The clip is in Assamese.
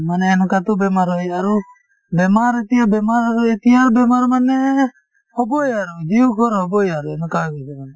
মানে এনেকুৱাতো বেমাৰ হয় আৰু বেমাৰ এতিয়া বেমাৰ আৰু এতিয়াৰ বেমাৰ মানে হবয়ে আৰু হবয়ে আৰু এনেকুৱা হৈ গৈছে মানে